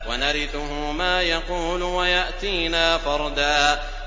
وَنَرِثُهُ مَا يَقُولُ وَيَأْتِينَا فَرْدًا